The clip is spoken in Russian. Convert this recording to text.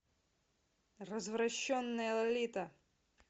развращенная лолита